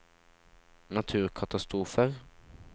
naturkatastrofer